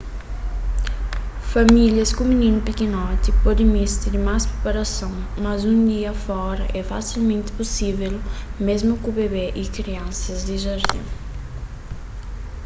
famílias ku mininu pikinoti pode meste di más priparason mas un dia fora é fasilmenti pusível mésmu ku bebe y kriansas di jardin